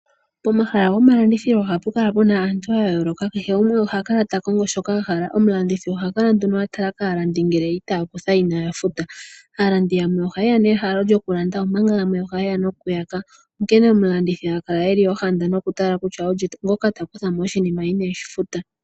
Pomahala gomalandithilo ohapu kala pu na aantu ya yooloka. Kehe gumwe oha kala ta kongo shoka a hala. Omulandithi oha kala nduno a tala kaalandi ngele itaya kutha inaaya futa. Aalandi yamwe oha ye ya nehalo lyokulanda, omanga yamwe oha ye ya nokuyaka, onkene omulandithi ha kala e li ohanda nokutala kutya olye ngoka ta kutha mo oshinima ineeshi futa.